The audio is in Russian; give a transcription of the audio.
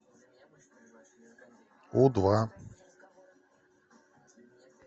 у два